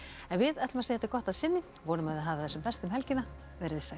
við ætlum að segja þetta gott að sinni vonum að þið hafið það sem best um helgina veriði sæl